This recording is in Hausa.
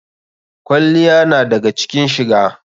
Kwalliya na daga cikin shiga.